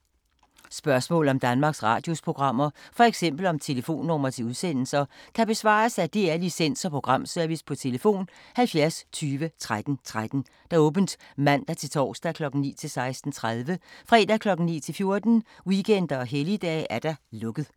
Spørgsmål om Danmarks Radios programmer, f.eks. om telefonnumre til udsendelser, kan besvares af DR Licens- og Programservice: tlf. 70 20 13 13, åbent mandag-torsdag 9.00-16.30, fredag 9.00-14.00, weekender og helligdage: lukket.